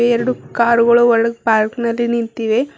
ಎರಡು ಕಾರುಗಳು ಒಳಗ್ ಪಾರ್ಕ್ ನಲ್ಲಿ ನಿಂತಿವೆ.